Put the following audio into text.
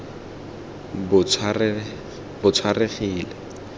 botshwarehile